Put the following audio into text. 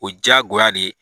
O diya go ya de.